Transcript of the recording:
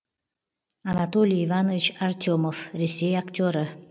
анатолий иванович артемов ресей актері